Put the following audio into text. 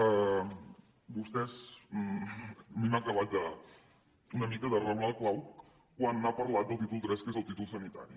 a mi m’ha acabat una mica de reblar el clau quan ha parlat del títol iii que és el títol sanitari